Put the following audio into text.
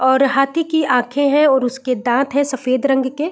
और हाथी की आँखे है और उसके दाँत है सफेद रंग के --